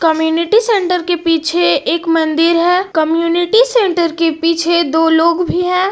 Community centre के पीछे एक मंदिर है। कम्युनिटी सेंटर पीछे दो लोग भी हैं।